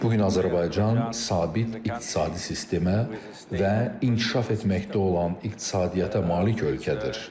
Bu gün Azərbaycan sabit iqtisadi sistemə və inkişaf etməkdə olan iqtisadiyyata malik ölkədir.